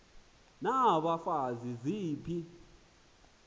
n abafazi ziphi